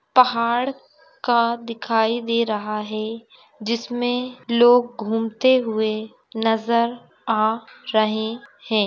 पहाड़ का दिखाई दे रहा है जिसमे लोग घुमते हुए नजर आ रहे है।